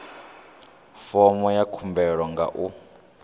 fomo ya khumbelo nga u